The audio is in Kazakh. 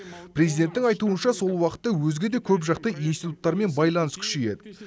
президенттің айтуынша сол уақытта өзге де көпжақты институттармен байланыс күшейеді